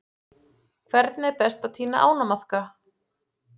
Hvernig er best að tína ánamaðka?